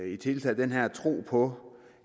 i det hele taget den her tro på